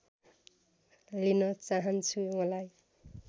लिन चाहन्छु मलाई